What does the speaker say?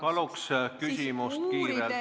Paluks küsimus kiirelt!